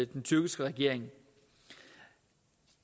den tyrkiske regering